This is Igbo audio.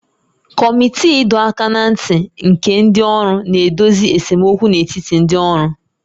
Kọmiti ịdọ aka ná ntị nke ndị ọrụ na-edozi esemokwu n'etiti ndị ọrụ